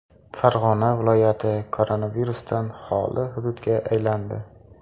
Farg‘ona viloyati koronavirusdan xoli hududga aylandi.